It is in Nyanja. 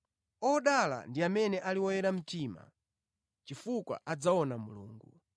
Odala ndi amene ali oyera mtima, chifukwa adzaona Mulungu.